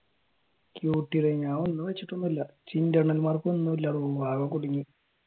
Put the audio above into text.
ടെയോ ഞാനൊന്നും വെച്ചിട്ടൊന്നുല്ല internal മാർക്കൊന്നും ഇല്ല ആകെ കുടുങ്ങി